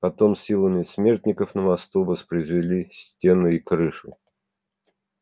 потом силами смертников на мосту воспроизвели стены и крышу